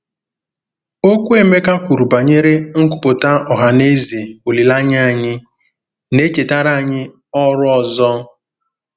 Okwu Emeka kwuru banyere "nkwupụta ọha na eze olileanya anyị" na-echetara anyị ọrụ ọzọ.